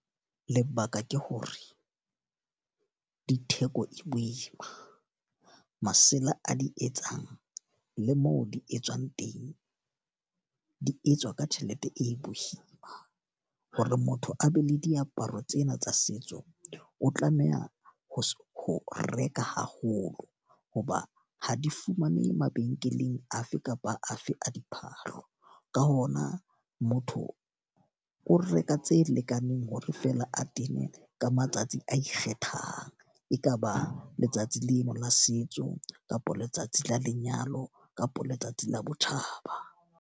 Lebaka ke hore di theko e boima. Masela a di etsang, le moo di etswang teng, di etswa ka tjhelete e boima. Hore motho a be le diaparo tsena tsa setso, o tlameha ho ho reka haholo. Ho ba ha di fumanehe mabenkeleng afe kapa afe a diphahlo. Ka hona motho o reka tse lekaneng hore feela a tene ka matsatsi a ikgethang. E ka ba letsatsi lena la setso, kapa letsatsi la lenyalo, kapa letsatsi la botjhaba.